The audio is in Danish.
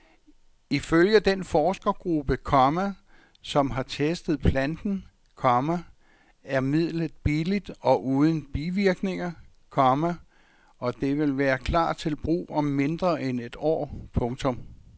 Ifølge den forskergruppe, komma som har testet planten, komma er midlet billigt og uden bivirkninger, komma og det vil klar til brug om mindre end et år. punktum